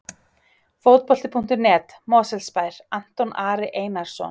Fótbolti.net, Mosfellsbær- Anton Ari Einarsson.